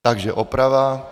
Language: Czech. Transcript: Takže oprava.